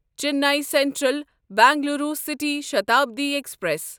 Chennai Central Bengaluru City Shatabdi express